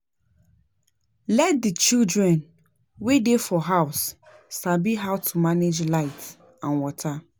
Let di children wey dey for house sabi how to manage light and water